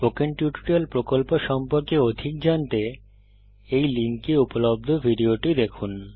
spoken tutorial প্রকল্প সম্পর্কে অধিক জানতে এই লিঙ্কে উপলব্ধ ভিডিওটি দেখুন